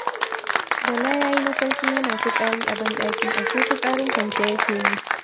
Bala yayi mafarkin yana fitsari a banɗaki, ashe fitsarin kwance ya ke yi.